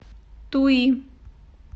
туи